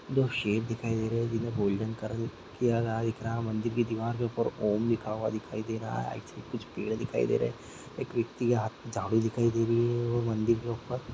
दो सेर दिखाई दे रहे है जिन्हे गोल्डन कलर किया गया दिख रहा है मंदिर की देवर के ऊपर ॐ लिखा हुआ दिखाई दे रहा है कुछ पेर दिखाई दे रहे है एक ब्यक्ति हाथ मे झारू दिखाई दे रही है वो मंदिर के ऊपर।